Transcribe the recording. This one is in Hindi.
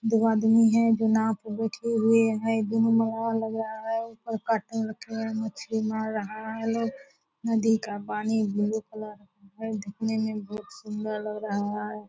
दो आदमी हैं जो नांव पे बैठे हुए हैं दोनों लग रहा है काटने मछली मार रहा है लोग नदी का पानी ब्लू कलर का है दिखने में बहुत सुंदर लग रहा है ।